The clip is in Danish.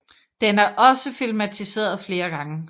Den er også filmatiseret flere gange